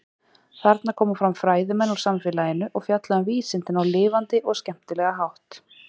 Þarna koma fram fræðimenn úr samfélaginu og fjalla um vísindin á lifandi og skemmtilega hátt.